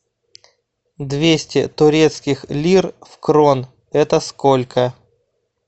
двести турецких лир в крон это сколько